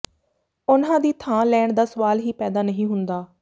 ਉਨ੍ਹਾਂ ਦੀ ਥਾਂ ਲੈਣ ਦਾ ਸਵਾਲ ਹੀ ਪੈਦਾ ਨਹੀਂ ਹੁੰਦਾ